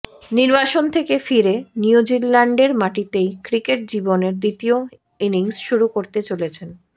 নির্বাসন থেকে ফিরে নিউজিল্যান্ডের মাটিতেই ক্রিকেট জীবনের দ্বিতীয় ইনিংস শুরু করতে চলেছেন